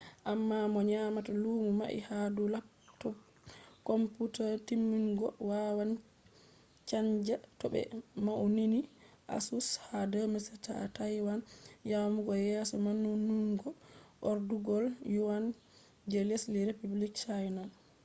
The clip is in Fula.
amma mo nyamata lumo mai ha dou laptop computer timmungo wawan chanja to be maunini asus ha 2007 ha taiwan yamugo yeso maununungo ardugol yuan je lesdi republic chaina